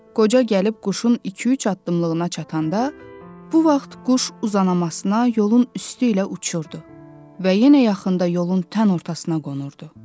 Qoca gəlib quşun iki-üç addımlığına çatanda, bu vaxt quş uzanmasına yolun üstü ilə uçurdu və yenə yaxında yolun tən ortasına qonurdu.